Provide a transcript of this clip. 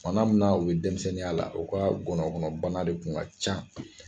Bana mun na u be denmisɛnninya la u ka gɔnɔ kɔnɔ bana de kun ka ca